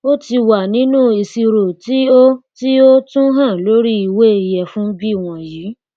ó tí wà nínú ìṣirò tí o tí o tún hàn lórí ìwé ìyẹfun bí wọnyí